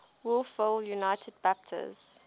wolfville united baptist